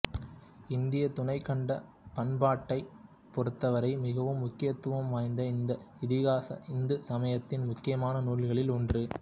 இந்தியத் துணைக்கண்டப் பண்பாட்டைப் பொறுத்தவரை மிகவும் முக்கியத்துவம் வாய்ந்த இந்த இதிகாசம் இந்து சமயத்தின் முக்கியமான நூல்களில் ஒன்று